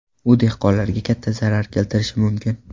U dehqonlarga katta zarar keltirishi mumkin.